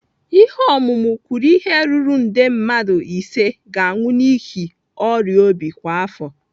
Ihe ọmụmụ kwuru ihe ruru nde mmadụ ise ga-anwụ n'ihi ọrịa obi kwa afọ.